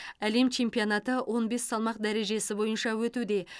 әлем чемпионаты он бес салмақ дәрежесі бойынша өтуде